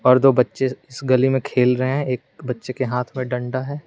और दो बच्चे इस गली में खेल रहे हैं एक बच्चे के हाथ पर डंडा है।